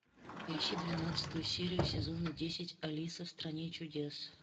поищи двенадцатую серию сезона десять алиса в стране чудес